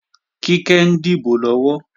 Kíkẹ́ ń dìbò lọ́wọ́